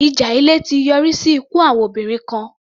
Ìjà ilé ti yọrí sí ikú àwọn obìnrin kan.